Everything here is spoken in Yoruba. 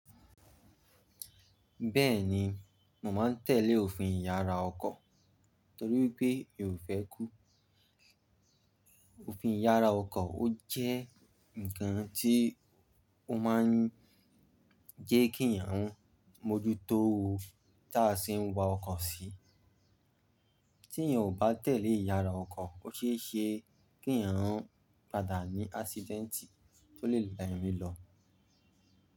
Bẹ́ẹ̀ni, mò máa ń tẹ́lẹ̀ òfin ìyára ọkọ̀ torí wipé mi ò fẹ́ kú. Òfin ìyára ọkọ̀ ó jẹ́ ǹkan tí ó máa ń jẹ́ kí èèyàn mójútó o tá a ṣe ń wa ọkọ̀ sí. Tí èèyàn ò bá tẹ̀lé ìyára ọkọ̀, ó ṣe é ṣe kí èèyàn padà ní ásídẹ́ǹtì tó lè lá èmí lọ.